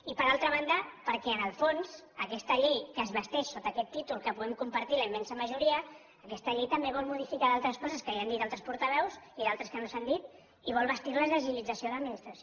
i per altra banda perquè en el fons aquesta llei que es vesteix sota aquest títol que podem compartir la immensa majoria aquesta llei també vol modificar d’altres coses que ja han dit altres portaveus i d’altres que no s’han dit i vol vestir les d’agilització de l’administració